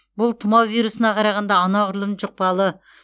бұл тұмау вирусына қарағанда анағұрлым жұқпалы